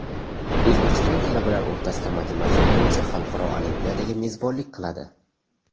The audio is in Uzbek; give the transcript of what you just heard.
O‘zbekiston talabalar o‘rtasida matematika bo‘yicha xalqaro olimpiadaga mezbonlik qiladi.